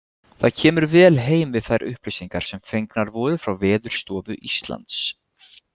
Það kemur vel heim við þær upplýsingar sem fengnar voru frá Veðurstofu Íslands.